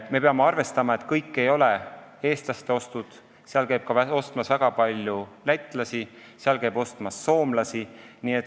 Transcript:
Me peame arvestama, et kõik ei ole eestlaste ostud, seal käib ostmas ka väga palju lätlasi, seal käib isegi soomlasi.